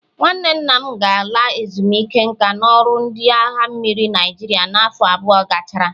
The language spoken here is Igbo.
Nwanne nna m ga-ala ezumike nka n'ọrụ ndị agha mmiri Naịjirịa n'afọ abụọ gachara.